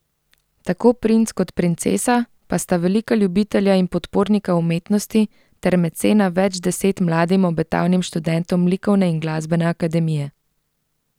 Tako princ kot princesa pa sta velika ljubitelja in podpornika umetnosti ter mecena več deset mladim obetavnim študentom likovne in glasbene akademije.